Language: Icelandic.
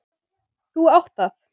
Þú átt það.